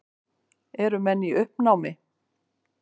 Eru menn í uppnámi?